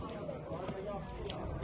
Nə yaxşı xoşdayam.